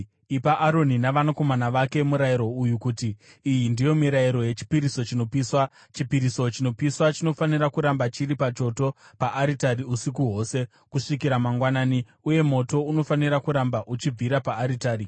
“Ipa Aroni navanakomana vake murayiro uyu uti, ‘Iyi ndiyo mirayiro yechipiriso chinopiswa: Chipiriso chinopiswa chinofanira kuramba chiri pachoto paaritari usiku hwose, kusvikira mangwanani, uye moto unofanira kuramba uchibvira paaritari.